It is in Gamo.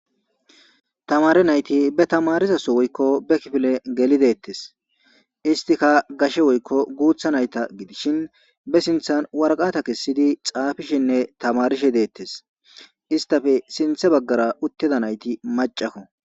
Tamare nayti be tamarisaso woykko be kifile geli deettes istika gashe woykko guutha nayta gidishin be sinthan warqata kessidi xaafishenne tamarishe deettes istafe sinthe baggara utteda nayti macako.